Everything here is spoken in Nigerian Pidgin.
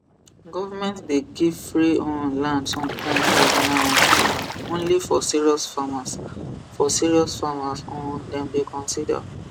government dey give free um land sometimes but na um only for serious farmers for serious farmers um dem dey consider